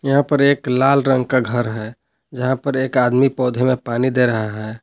यहां पर एक लाल रंग का घर है जहां पर एक आदमी पौधों में पानी दे रहा है।